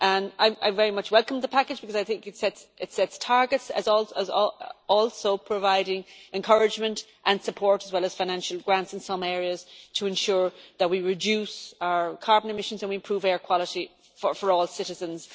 I very much welcome the package because it sets targets and also provides encouragement and support, as well as financial grants in some areas, to ensure that we reduce our carbon emissions and improve air quality for all citizens.